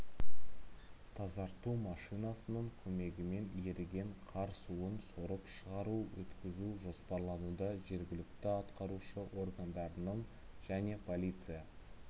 тазарту машинасының көмегімен еріген қар суын сорып шығару өткізу жоспарлануда жергілікті атқарушы органдарының және полиция